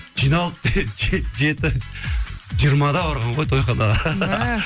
жиналып жеті жиырмада барған ғой тойханаға